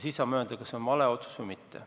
Siis saame öelda, kas see on vale otsus või mitte.